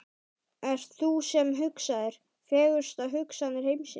Ert það þú sem hugsaðir, fegurstu hugsanir heimsins?